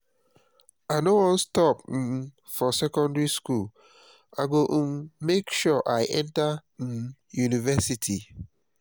i no wan stop um for secondary school i go um make sure i enter um university